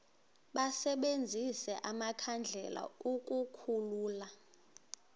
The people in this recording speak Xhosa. basebenzise amakhandlela ukukhulula